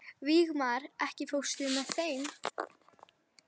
Vígmar, ekki fórstu með þeim?